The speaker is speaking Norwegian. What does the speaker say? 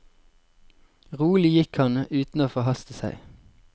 Rolig gikk han, uten å forhaste seg.